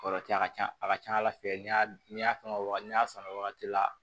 Kɔrɔtɛ a ka ca a ka ca ala fɛ n'i y'a ni y'a fɛn o wagati ni y'a san o wagati la